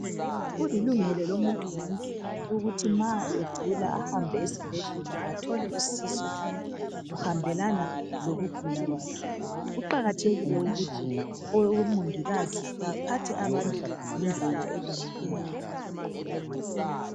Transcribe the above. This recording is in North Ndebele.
Kulilungelo lomuntu wonke ukuthi ma egula ahambe esibhedlela athole usizo kuhambelana lokugula kwakhe kuqakathekile ukuthi omongikazi baphathe abantu ngendlela elungileyo